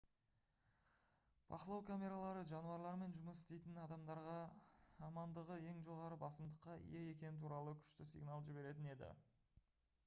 бақылау камералары жануарлармен жұмыс істейтін адамдарға амандығы ең жоғары басымдыққа ие екені туралы күшті сигнал жіберетін еді